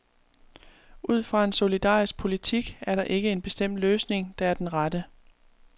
Ud fra en solidarisk politik er der ikke en bestemt løsning, der er den rette.